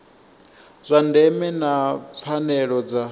zwa ndeme na pfanelo dza